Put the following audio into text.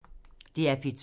DR P2